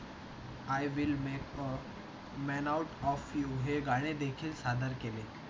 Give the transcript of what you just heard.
I will make of man out of you हे गाणे देखील सादर केले.